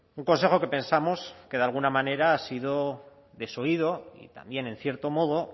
un consejo que pensamos que de alguna manera ha sido desoído y también en cierto modo